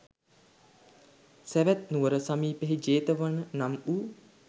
සැවැත්නුවර සමීපයෙහි ජේතවන නම් වූ